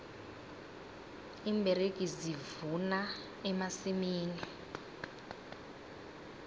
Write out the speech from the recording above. iimberegi zivuna emasimini